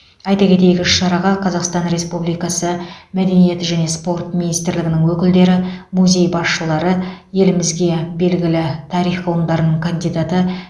айта кетейік іс шараға қазақстан республикасы мәдениет және спорт министрлігінің өкілдері музей басшылары елімізге белгілі тарих ғылымдарының кандидаты